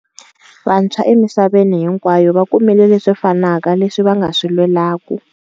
Vantshwa emisaveni hinkwayo vakumile leswi fanaka leswi va nga swi lwelaku.